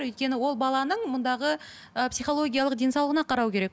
өйткені ол баланың мұндағы ыыы психологиялық денсаулығына қарау керек